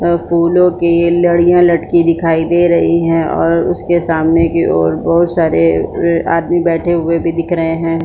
और फूलो लड़ियां लटकी दिखाई दे रही है और उसके सामने की ओर बहुत सारे आदमी बैठे हुए भी दिख रहे है।